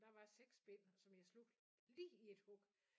Men der var 6 bind som jeg slugte lige i et hug